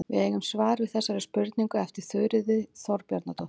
Við eigum svar við þessari spurningu eftir Þuríði Þorbjarnardóttur.